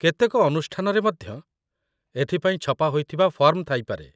କେତେକ ଅନୁଷ୍ଠାନରେ ମଧ୍ୟ ଏଥିପାଇଁ ଛପା ହୋଇଥିବା ଫର୍ମ ଥାଇପାରେ